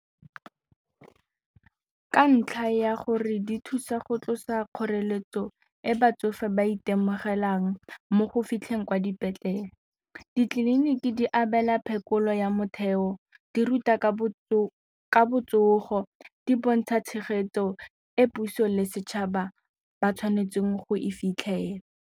Ka ntlha ya gore di thusa go tlosa kgoreletso e batsofe ba itemogelang mo go fitlheng kwa dipetlele, ditleliniki di abela phekolo ya motheo, di ruta ka botsogo, di bontsha tshegetso e puso le setšhaba ba tshwanetseng go e fitlhela.